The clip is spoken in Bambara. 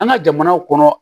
An ka jamanaw kɔnɔ